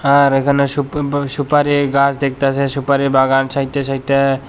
আর এইখানে সুপ ব সুপারি গাছ দেখতাসি সুপারি বাগান সাইট -এ সাইট -এ।